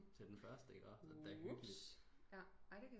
Til den første ikke også